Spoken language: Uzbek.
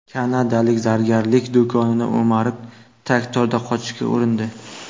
Kanadalik zargarlik do‘konini o‘marib, traktorda qochishga urindi.